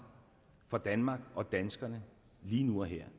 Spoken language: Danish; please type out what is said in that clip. for danmark og danskerne lige nu og her